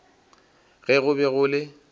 ge go be go le